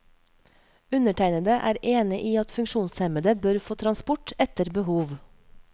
Undertegnede er enig i at funksjonshemmede bør få transport etter behov.